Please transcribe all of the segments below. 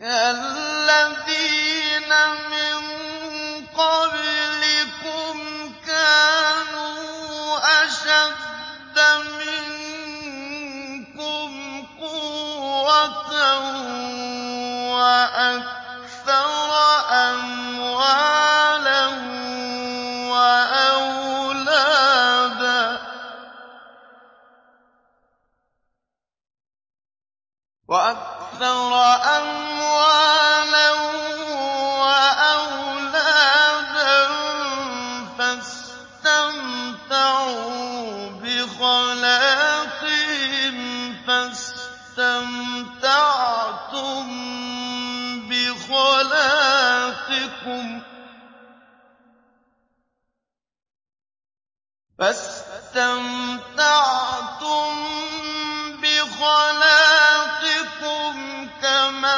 كَالَّذِينَ مِن قَبْلِكُمْ كَانُوا أَشَدَّ مِنكُمْ قُوَّةً وَأَكْثَرَ أَمْوَالًا وَأَوْلَادًا فَاسْتَمْتَعُوا بِخَلَاقِهِمْ فَاسْتَمْتَعْتُم بِخَلَاقِكُمْ كَمَا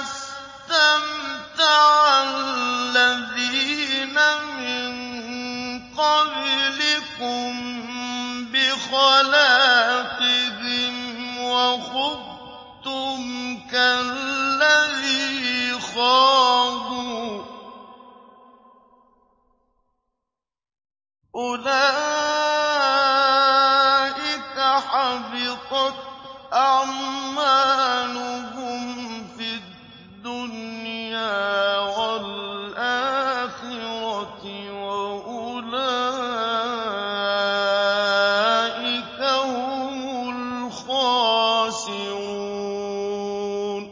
اسْتَمْتَعَ الَّذِينَ مِن قَبْلِكُم بِخَلَاقِهِمْ وَخُضْتُمْ كَالَّذِي خَاضُوا ۚ أُولَٰئِكَ حَبِطَتْ أَعْمَالُهُمْ فِي الدُّنْيَا وَالْآخِرَةِ ۖ وَأُولَٰئِكَ هُمُ الْخَاسِرُونَ